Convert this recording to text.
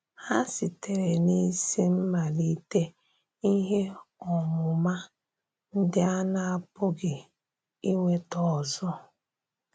Ha sitere n’isi mmalite ihe ọmụma ndị a na-apụghị ịnweta ọzọ.